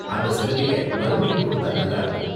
அந்த சலுகைய மறுபடியும் கொடுத்தா நல்லா இருக்கும்.